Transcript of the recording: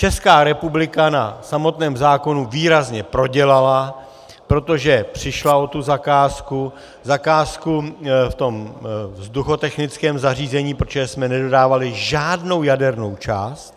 Česká republika na samotném zákonu výrazně prodělala, protože přišla o tu zakázku, zakázku v tom vzduchotechnickém zařízení, protože jsme nedodávali žádnou jadernou část.